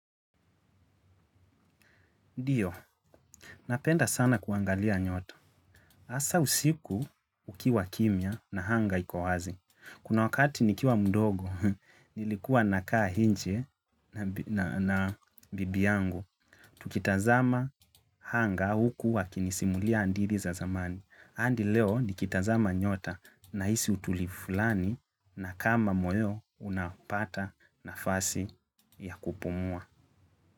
Ndiyo, napenda sana kuangalia nyota. Hasaa usiku kukiwa kimya na anga iko wazi. Kuna wakati nikiwa mdogo, nilikuwa nakaa nje na bibi yangu. Tukitazama anga huku akinisimulia hadithi za zamani. Hadi leo nikitazama nyota nahisi utulivu fulani na kama moyo unapata nafasi ya kupumua.